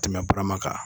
Tɛmɛ barama kan